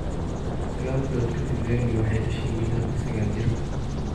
Sagal bilood ka dib Vennie waxay dhashay wiil hadda sagal jir ah.